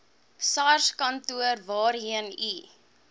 sarskantoor waarheen u